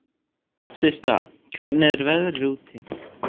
Systa, hvernig er veðrið úti?